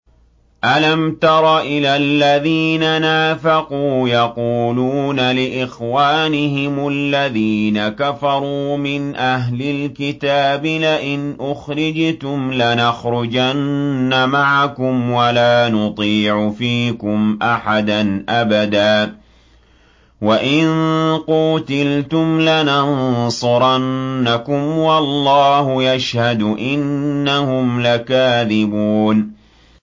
۞ أَلَمْ تَرَ إِلَى الَّذِينَ نَافَقُوا يَقُولُونَ لِإِخْوَانِهِمُ الَّذِينَ كَفَرُوا مِنْ أَهْلِ الْكِتَابِ لَئِنْ أُخْرِجْتُمْ لَنَخْرُجَنَّ مَعَكُمْ وَلَا نُطِيعُ فِيكُمْ أَحَدًا أَبَدًا وَإِن قُوتِلْتُمْ لَنَنصُرَنَّكُمْ وَاللَّهُ يَشْهَدُ إِنَّهُمْ لَكَاذِبُونَ